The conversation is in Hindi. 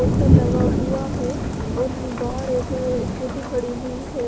पोस्टर लगा हुआ है और बाहर एक स्कूटी खड़ी हुई है।